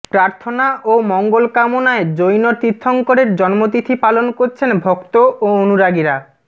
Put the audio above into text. প্রার্থনা ও মঙ্গল কামনায় জৈন তীর্থঙ্করের জন্মতিথি পালন করছেন ভক্ত ও অনুরাগীরা